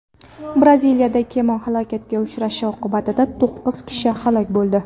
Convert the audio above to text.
Braziliyada kema halokatga uchrashi oqibatida to‘qqiz kishi halok bo‘ldi.